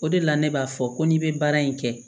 O de la ne b'a fɔ ko n'i bɛ baara in kɛ